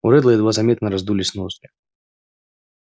у реддла едва заметно раздулись ноздри